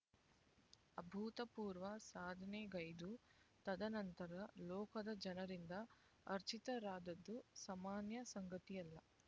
ಅಭೂತಪೂರ್ವ ಸಾಧನೆಗೈದು ತದನಂತರ ಲೋಕದ ಜನರಿಂದ ಅರ್ಚಿತರಾದದ್ದು ಸಾಮಾನ್ಯ ಸಂಗತಿಯಲ್ಲ